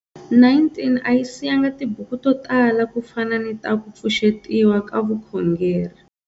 19 a yi siyanga tibuku to tala ku fana ni ta ku pfuxetiwa ka vukhongeri.